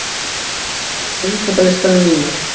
Hávarr, hvað er á innkaupalistanum mínum?